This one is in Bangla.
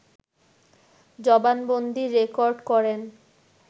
জবানবন্দী রেকর্ড করেন